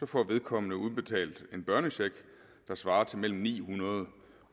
får vedkommende udbetalt en børnecheck der svarer til mellem ni hundrede